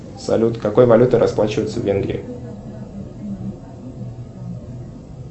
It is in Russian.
салют какой валютой расплачиваются в венгрии